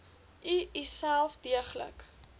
u uself deeglik